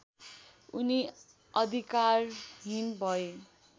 उनी अधिकारहीन भए